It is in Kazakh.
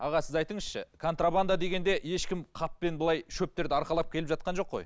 аға сіз айтыңызшы контрабанда дегенде ешкім қаппен былай шөптерді арқалап келіп жатқан жоқ қой